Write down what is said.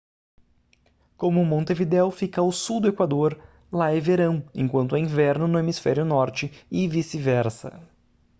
como montevidéu fica ao sul do equador lá é verão enquanto é inverno no hemisfério norte e vice-versa